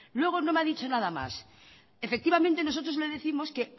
luego no me ha dicho nada más efectivamente nosotros le décimos que